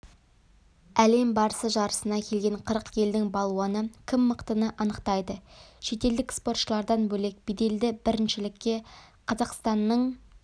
әлем барысы жарысына келген қырық елдің балуаны кім мықтыны анықтайды шетелдік спортшылардан бөлек беделді біріншілікке қазақстанның